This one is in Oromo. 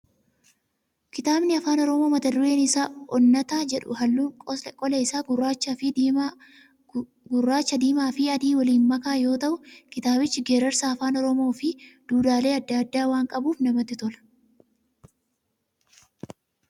Kitaabni afaan oromoo mata dureen isaa "OONNATA" jedhu halluun qola isaa gurraacha, diimaa fi adii waliin makaa yoo ta'u, kitaabichi geerarsa afaan oromoo fi duudhaalee adda addaa waan qabuuf namatti tola.